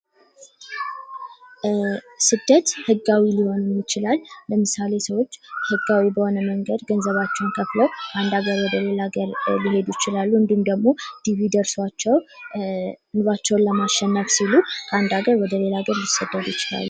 ስደት ህጋዊም ሊሆን ይችላል። ለምሳሌ ሰዎች ህጋዊ በሆነ መንገድ ገንዘባቸዉን ከፍለዉ ከአንድ አገር ወደ ሌላ ሀገር ሊሄዱ ይችላሉ። ወይም ደግሞ ዲቪ ደርሷቸዉ ከአንድ አገር ወደ ሌላ ሀገር ሊሰደዱ ይችላሉ።